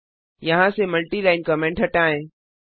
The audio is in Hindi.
यहाँ से मल्टी लाइन कमेंट हटाएं